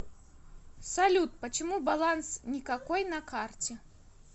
салют почему баланс никакой на карте